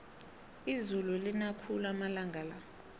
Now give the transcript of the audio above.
izulu lina khulu amalanga la